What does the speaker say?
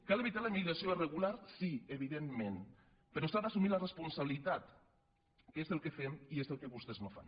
cal evitar la immigració irregular sí evidentment però s’ha d’assumir la responsabilitat que és el que fem i és el que vostès no fan